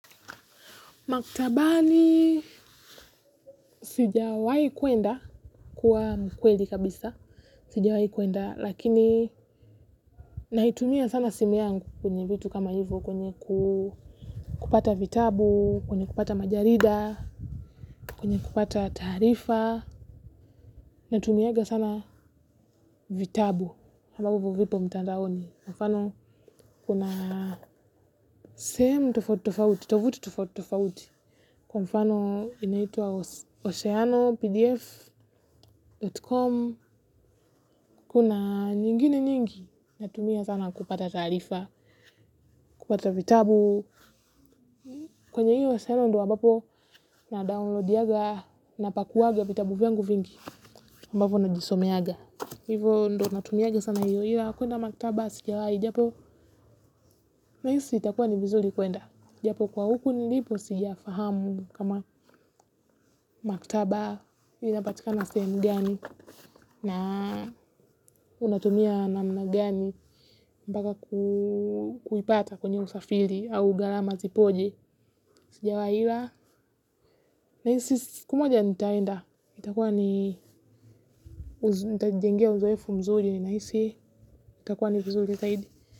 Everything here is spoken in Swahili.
Maktabani sijawai kuenda kuwa mkweli kabisa, sijawai kuenda lakini naitumia sana simu yangu kwenye vitu kama hivyo kwenye kupata vitabu, kwenye kupata majarida, kwenye kupata tarifa. Natumiaga sana vitabu ambapo vipo mtandaoni mfano kuna shemu tofauti tofauti, tufuti tofauti kwa mfano inaitua oceanopdf.com kuna nyingine nyingi natumia sana kupata taarifa kupata vitabu kwenye hiyo nadownloadianga napakuanga vitabu vyangu vingine ambapo najisomeanga hivyo ndo natumianga sana hiyo ila ya kuenda maktaba sijawahi, japo nahisi itakuwa ni vizuri kuenda japo kwa huku nilipo sijafahamu kama maktaba inapatika na sehemu gani na unatumia namna gani mpaka kuipata kwenye usafiri au gharama zipoje sijawahi ila, nahisi siku moja nitaenda, itakuwa ni nitajengea uzoefu mzuri nahisi itakuwa ni vizuri zaidi.